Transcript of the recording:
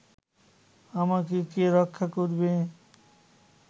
আমাকে কে রক্ষা করিবে